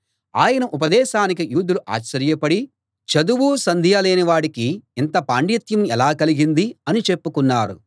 ఆయన ఉపదేశానికి యూదులు ఆశ్చర్యపడి చదువూ సంధ్యా లేని వాడికి ఇంత పాండిత్యం ఎలా కలిగింది అని చెప్పుకున్నారు